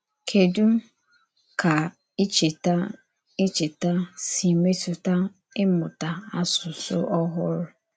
Kèdù ka ìchèta ìchèta sī mètùtà ịmụ̀tà àsụsụ ọ̀hụrụ?